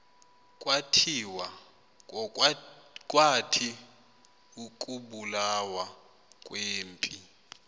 kwathi ukubulawa kwempi